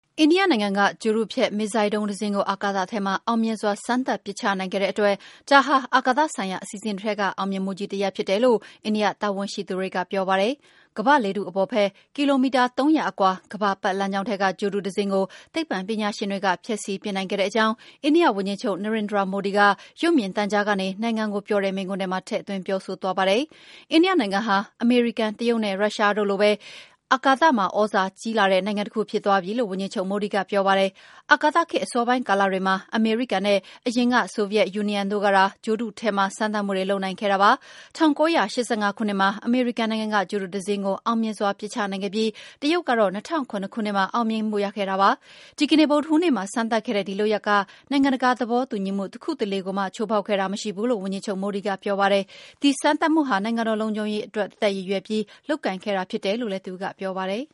အိန္ဒိယနိုင်ငံက ဂြိုလ်တုဖျက် မစ်ဇိုင်းဒုံး တစင်းကို အာကာသထဲမှာ အောင်မြင်စွာ စမ်းသပ် ပစ်ချနိုင်ခဲ့တဲ့အတွက် ဒါဟာ အာကာသဆိုင်ရာ အစီအစဉ်တွေထဲက အောင်မြင်မှုကြီး တရပ် ဖြစ်တယ်လို့ အိန္ဒိယတာဝန်ရှိသူတွေက ပြောပါတယ်။ ကမ္ဘာ့လေထု အပေါ်ဘက် ကီလိုမီတာ ၃၀၀ အကွာ ကမ္ဘာ ပတ်လမ်းကြောင်းထဲက ဂြိုလ်တု တစင်းကို သိပ္ပံပညာရှင်တွေ ဖျက်ဆီးပစ်နိုင်ခဲ့ကြောင်း အိန္ဒိယဝန်ကြီးချုပ် Narendra Modi က ရုပ်မြင်သံကြားကနေ နိုင်ငံကိုပြောတဲ့ မိန့်ခွန်းထဲမှာ ထည့်သွင်း ပြောဆိုသွားတာပါ။ အိန္ဒိယနိုင်ငံဟာ အမေရိကန်၊ တရုတ်နဲ့ ရုရှားတို့လိုပဲ အိန္ဒိယဟာလည်း အာကာသမှာ သြဇာကြီးလာတဲ့ နိုင်ငံတခု ဖြစ်သွားပြီလို့လည်း ဝန်ကြီးချုပ် မိုဒီ က ပြောပါတယ်။ အာကာသခေတ် အစောပိုင်း ကာလတွေမှာ အမေရိကန်နိုင်ငံနဲ့ အရင်က ဆိုဗီယက် ယူနီယံတို့ကသာ ဂြိုလ်တုထဲမှာ စမ်းသပ်မှုတွေ လုပ်နိုင်ခဲ့တာပါ။ ၁၉၈၅ ခုနှစ်မှာ အမေရိကန် နိုင်ငံက ဂြိုလ်တု တစင်းကို အောင်မြင်စွာ ပစ်ချနိုင်ခဲ့ပြီး တရုတ်ကတော့ ၂၀၀၇ ခုနှစ်မှာ အောင်မြင်မှု ရခဲ့ကြတာ ဖြစ်ပါတယ်။ ဒီကနေ့ ဗုဒ္ဓဟူးနေ့မှာ စမ်းသပ်ခဲ့တဲ့ ဒီလုပ်ရပ်က နိုင်ငံတကာ သဘောတူညီမှု တခုတလေကိုမှ ချိုးဖောက်ခဲ့တာ မရှိဘူးလို့ ဝန်ကြီးချုပ် မိုဒီ က ပြောပါတယ်။ ဒီစမ်းသပ်မှုဟာ နိုင်ငံတော် လုံခြုံရေး သက်သက်အတွက် ရည်ရွယ်ပြီး လုပ်ကိုင်ခဲ့တာ ဖြစ်တယ်လို့လည်း သူကပြောပါတယ်